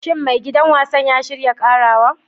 Shin maigidan wasan ya shirya karawa?